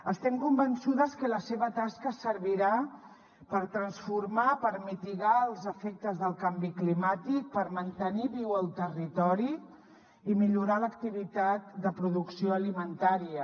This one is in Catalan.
estem convençudes que la seva tasca servirà per transformar per mitigar els efectes del canvi climàtic per mantenir viu el territori i millorar l’activitat de producció alimentària